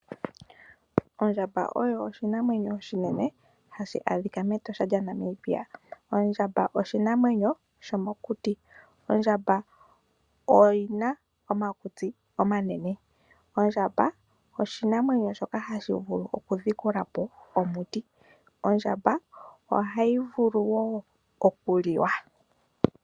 Ondjamba oyo oshinamwenyo oshinene hashi adhika mEtosha lya Namibia. Ondjamba oshinamwenyo sho mokuti. Ondjamba oyi na omakutsi omanene. Ondjamba oshinamwenyo shoka hashi vulu okudhikula po omuti. Ondjamba ohayi vulu wo okuliwa.